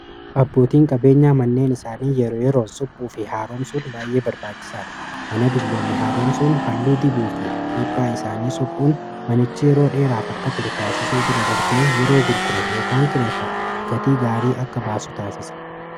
Abbootiin qabeenyaa manneen isaanii yeroo yeroon suphuu fi haaroomsuun baay'ee barbaachisaadha mana dulloome haaroomsuun halluu dibuu fi piiphaa isaanii suphuun manichi yeroo dheeraaf akka turu taasisuu bira darbee yeroo gurguramu yookaan kireeffamu gatii gaarii akka baasu taasisa.